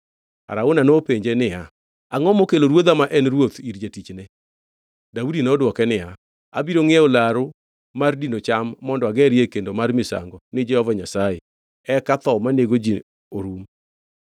Arauna nopenje niya, “Angʼo mokelo ruodha ma en ruoth ir jatichne?” Daudi nodwoke niya, “Abiro ngʼiewo laru mar dino cham, mondo agerie kendo mar misango ni Jehova Nyasaye, eka tho manego ji orum.”